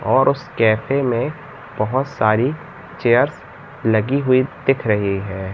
और उस कैफे में बहोत सारी चेयर्स लगी हुई दिख रही है।